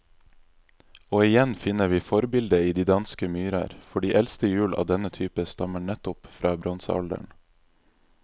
Og igjen finner vi forbildet i de danske myrer, for de eldste hjul av denne type stammer nettopp fra bronsealderen.